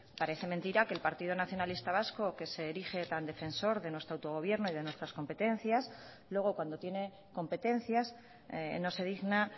parece mentira que el partido nacionalista vasco que se erige tan defensor de nuestro autogobierno y de nuestras competencias luego cuando tiene competencias no se digna